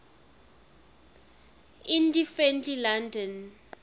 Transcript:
indie friendly london records